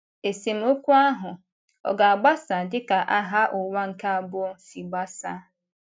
Esemokwu ahụ ọ̀ ga-agbasa dị ka Agha Ụwa nke Abụọ si gbasaa?